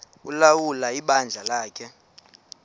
ulawula ibandla lakhe